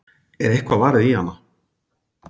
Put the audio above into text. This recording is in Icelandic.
Er eitthvað varið í hana?